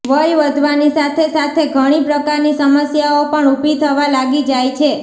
વય વધવાની સાથે સાથે ઘણી પ્રકારની સમસ્યાઓ પણ ઊભી થવા લાગી જાય છે